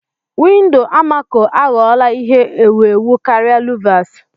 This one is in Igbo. Windọ amako aghọla ihe ewu ewu karịa luvas.